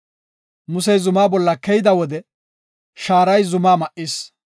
Musey zumaa bolla keyida wode shaaray zumaa ma7is.